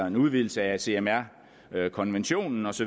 en udvidelse af cmr konventionen osv